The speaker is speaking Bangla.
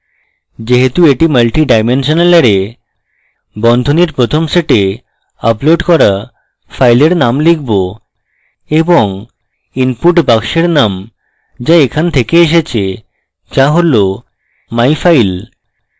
যেহেতু এটি মাল্টিডাইমেনশনাল অ্যারে বন্ধনীর প্রথম set আপলোড করা file name লিখব এবং input box name যা এখন থেকে এসেছেযা হল myfile